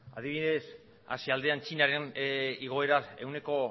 adibidez asia aldean txinaren igoera ehuneko